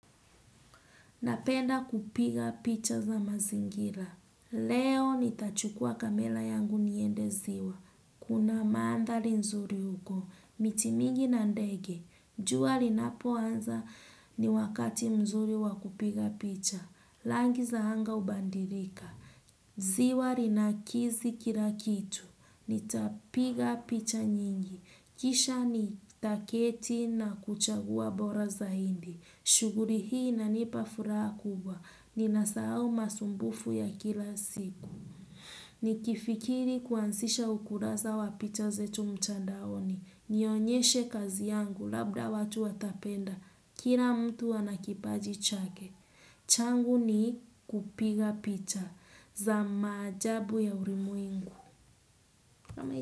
Napenda kupiga picha za mazingira. Leo nitachukua kamela yangu niende ziwa. Kuna maandhali nzuri huko. Miti mingi na ndege. Jua linapo anza ni wakati mzuri wakupiga picha. Langi za hanga ubandirika. Ziwa linakizi kilakitu. Nitapiga picha nyingi. Kisha nitaketi na kuchagua bora za hindi. Shuguri hii inanipa furaha kubwa. Ni nasahau masumbufu ya kila siku. Ni kifikiri kuansisha ukulasa wa picha zetu mtandaoni. Nionyeshe kazi yangu labda watu watapenda. Kira mtu ana kipaji chake. Changu ni kupiga picha. Za maajabu ya urimwengu.